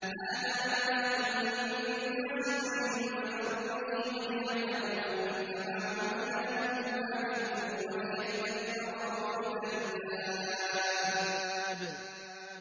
هَٰذَا بَلَاغٌ لِّلنَّاسِ وَلِيُنذَرُوا بِهِ وَلِيَعْلَمُوا أَنَّمَا هُوَ إِلَٰهٌ وَاحِدٌ وَلِيَذَّكَّرَ أُولُو الْأَلْبَابِ